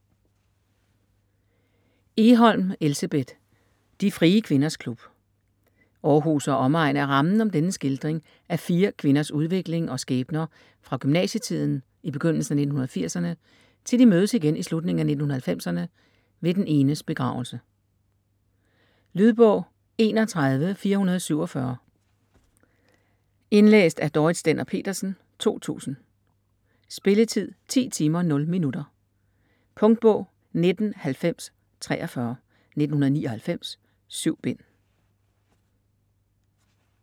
Egholm, Elsebeth: De frie kvinders klub Århus og omegn er rammen om denne skildring af fire kvinders udvikling og skæbner fra gymnasietiden i begyndelsen af 1980'erne til de mødes igen i slutningen af 1990'erne ved den enes begravelse. Lydbog 31447 Indlæst af Dorrit Stender-Petersen, 2000. Spilletid: 10 timer, 0 minutter. Punktbog 199043 1999. 7 bind.